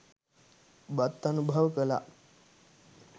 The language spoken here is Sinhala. බත් අනුභව කළා.